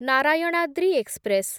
Narayanadri express